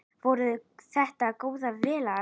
Voru þetta góðar vélar?